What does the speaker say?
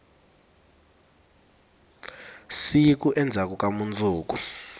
siku endzhaku ka mundzuku